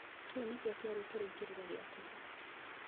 Kĩu nĩkĩo kĩarĩ kĩrĩkĩrĩro gĩake